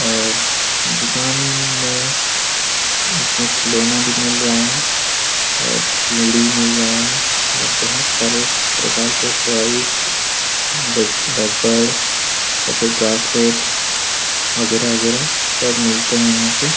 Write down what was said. और दुकान में इसमें खिलौना भी मिल रहा है और चूड़ी मिल रहे हैं और बहुत सारे प्रकार के टॉयज र-र रबड़ या फिर ब्रेसलेट बगैरा- बगैरा सब मिलते हैं यहाँ पे ।